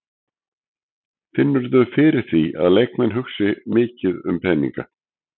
Finnurðu fyrir því að leikmenn hugsi mikið um peninga?